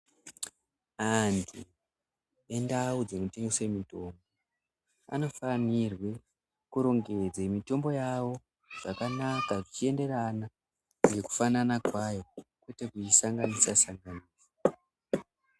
Andu endawu dzinotengeswe mitombo anofanirwe kurongedze mitombo yawo zvakanaka zvichienderana ngokufanana kwayo kwete kuyisanganisa sanganisa.